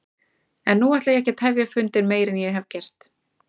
En nú ætla ég ekki að tefja fundinn meir en ég hef gert.